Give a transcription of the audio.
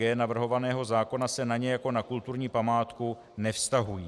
g) navrhovaného zákona se na ně jako na kulturní památku nevztahují.